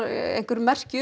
einhver merki